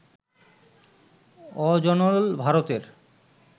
অজনল, ভারতের